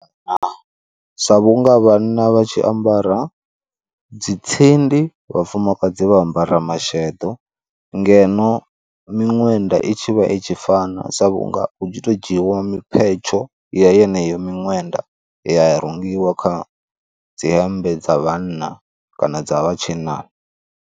Sa vhunga vhana vha tshi ambara dzi tsindi, vhafumakadzi vha ambara masheḓo, ngeno miṅwenda i tshi vha i tshi fana sa vhunga hu tshi to dzhiiwa miphetsho ya yeneyo miṅwenda ya ya rungiwa kha dzi hembe dza vhanna kana dza vhatshinnani.